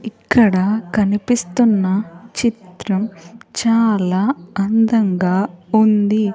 ఇక్కడ కనిపిస్తున్న చిత్రం చాలా అందంగా ఉంది.